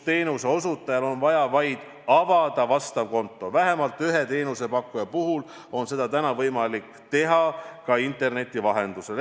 Teenuseosutajal on vaja avada vastav konto, vähemalt ühe teenusepakkuja puhul on seda võimalik teha ka interneti vahendusel.